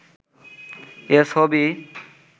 এ ছবি